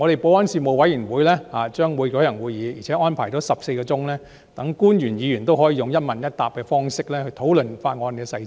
保安事務委員會將舉行會議，並且安排了14小時，讓官員和議員可以用"一問一答"的方式討論法案的細節。